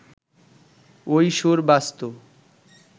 ওই সুর বাজতো